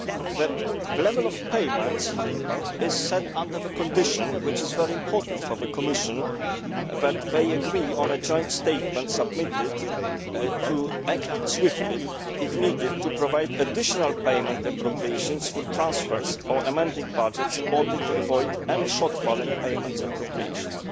The level of payments is set under the condition which is very important for the Commission that they agree on a joint statement submitted to act swiftly if needed to provide additional payment appropriations through transfers or amending budgets, in order to avoid any shortfall in payment appropriations.